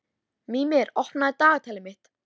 Mímir, opnaðu dagatalið mitt.